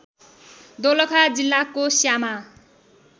दोलखा जिल्लाको श्यामा